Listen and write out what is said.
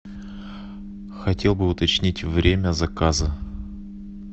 хотел бы уточнить время заказа